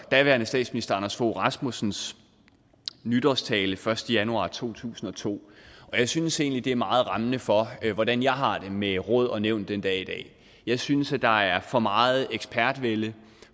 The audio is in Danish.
daværende statsminister anders fogh rasmussens nytårstale den første januar to tusind og to og jeg synes egentlig at den er meget rammende for hvordan jeg har det med råd og nævn den dag i dag jeg synes at der er for meget ekspertvælde